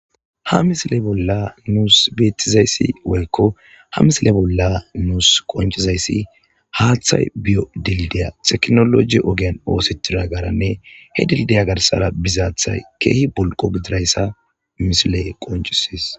ha misile bolla nuus beettizayssi woykko ha misile bolla nuus qoncizayssi haaththay biyo dildiya teknoloji ogian oosetira garanne he dildiya garsara bizaathay keehi bolqo gidirayssa misiley qoncisis